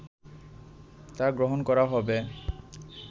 তা গ্রহণ করা হবে